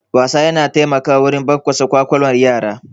Wasa yana taimakawa wurin bunƙasa ƙwaƙwalwar yara.